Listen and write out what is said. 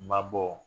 Mabɔ